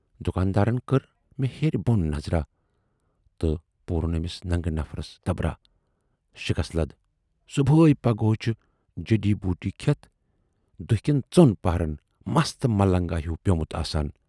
دُکان دارَن کٔر مےٚ ہیٚرِ بۅن نظراہ تہٕ پورُن ٲمِس ننگہٕ نفرس تبراہ، شِکس لد صُبحے پگہٕے چھُ جڈی بوٗٹی کھٮ۪تھ دُہۍ کٮ۪ن ژۅن پٔہرن مست ملنگا ہیوٗ پٮ۪ومُت آسان